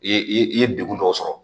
I ye i ye degun dɔw sɔrɔ